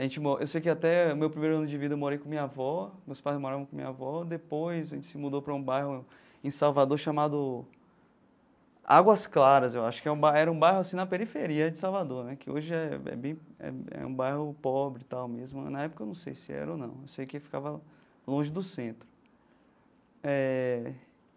A gente mo eu sei que até o meu primeiro ano de vida eu morei com a minha avó, meus pais moravam com a minha avó, depois a gente se mudou para um bairro em Salvador chamado Águas Claras, eu acho que é um bairro era um bairro assim na periferia de Salvador né, que hoje é é bem é é um bairro pobre e tal mesmo, na época eu não sei se era ou não, eu sei que ficava longe do centro eh.